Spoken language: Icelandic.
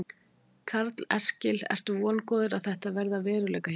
Karl Eskil: Ertu vongóður á að þetta verði að veruleika hjá ykkur?